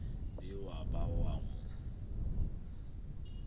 be wa ba wa mo